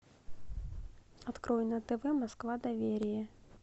открой на тв москва доверие